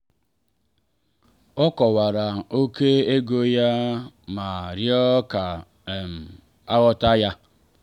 o kọwara ókè ego ya ma rịọ ka um a ghọta ya.